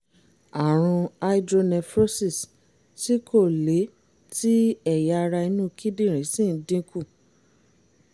àrùn hydronephrosis tí kò le tí ẹ̀yà ara inú kíndìnrín sì ń dínkù